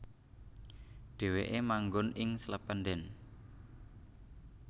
Dhèwèké manggon ing Slependen